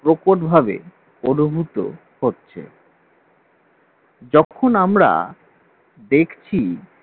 প্রকটভাবে অনুভূত হচ্ছে যখন আমরা দেখছি